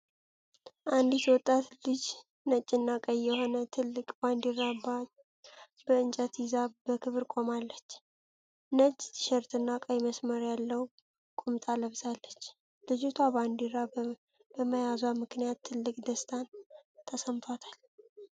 አንዲት ወጣት ልጅ ነጭና ቀይ የሆነ ትልቅ ባንዲራ በእንጨት ይዛ በክብር ቆማለች። ነጭ ቲሸርትና ቀይ መስመር ያለው ቁምጣ ለብሳለች። ልጅቷ ባንዲራ በመያዟ ምክንያት ትልቅ ደስታን ተሰምቷታል።